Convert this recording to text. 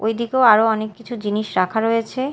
ঐদিকেও আরও অনেককিছু জিনিস রাখা রয়েছে।